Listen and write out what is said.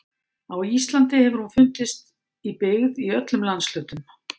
Á Íslandi hefur hún fundist í byggð í öllum landshlutum.